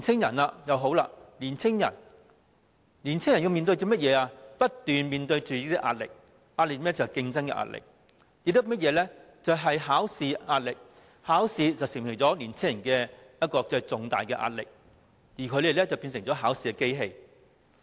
至於年青人，他們不斷面對壓力，有競爭的壓力，也有考試的壓力；考試對年青人構成重大壓力，而他們則變成考試機器。